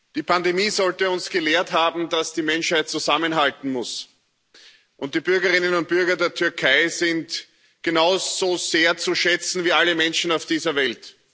Die Pandemie sollte uns gelehrt haben, dass die Menschheit zusammenhalten muss, und die Bürgerinnen und Bürger der Türkei sind genauso sehr zu schätzen wie alle Menschen auf dieser Welt.